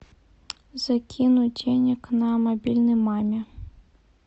закинуть денег на мобильный маме